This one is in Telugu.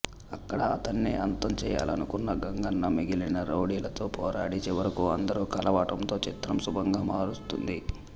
అక్కడ అతన్ని అంతం చేయాలనుకున్న గంగన్న మిగిలిన రౌడీలతో పోరాడి చివరకు అందరూ కలవటంతో చిత్రం శుభంగా ముగుస్తుంది